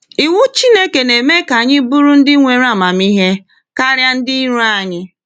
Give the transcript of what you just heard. Iwu Chineke na-eme ka anyị bụrụ ndị nwere amamihe karịa ndị iro anyị.